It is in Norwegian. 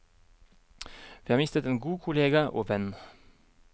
Vi har mistet en god kollega og venn.